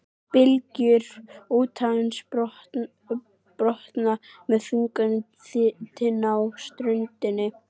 Bylgjur úthafsins brotna með þungum dyn á ströndinni.